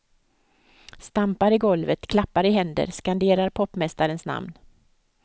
Stampar i golvet, klappar händer, skanderar popmästarens namn.